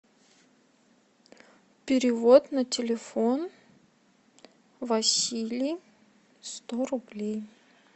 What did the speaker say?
перевод на телефон василий сто рублей